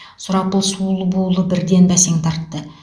сұрапыл суыл буылы бірден бәсең тартты